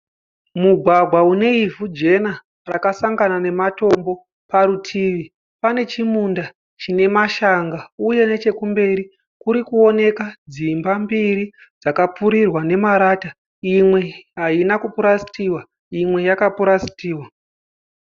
Mugwagwa uneivhu jena rakasangana nematombo, parutivi pane chimunda chinemashanga uye nechekumberi kurikuonekwa dzimba mbiri dzakapfurirwa namarata imwe haina kupurasitiwa imwe yakapurasitiwa.